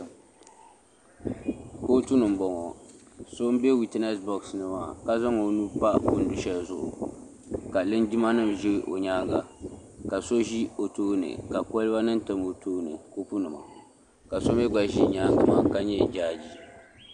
Kootu ni m boŋɔ so m be witinesi boɣasi ni maa ka zaŋ o nuu pa o nu'aheli zuɣu k. linjima nima ʒɛ o nyaanga ka so ʒi o tooni ka koliba nima tam o tooni ni kopu nima ka so mee gba ʒi nyaanga maa ka nyɛ jaaji.